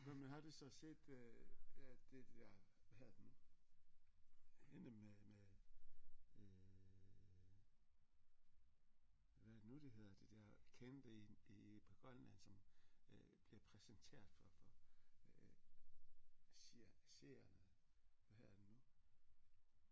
Hvem har du så set øh at det der hvad hedder det nu hende med med øh hvad er det nu det hedder det der kendte i i på Grønland som øh bliver præsenteret for for seerne hvad hedder det nu